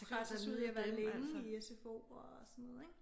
Presses ud i at være længe i sfo og sådan noget ik